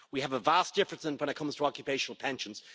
we have a vast difference when it comes to occupational pensions.